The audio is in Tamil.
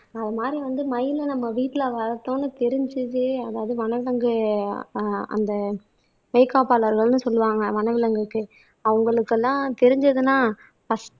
அது மாதிரி வந்து மயிலை நம்ம வீட்டுல வளர்த்தோம்ன்னு தெரிஞ்சுது அதாவது வன விலங்கு ஆஹ் அந்த மெய் காப்பாளர்கள்ன்னு சொல்லுவாங்க வனவிலங்குக்கு அவங்களுக்கெல்லாம் தெரிஞ்சதுன்னா ஃபரஸ்ட்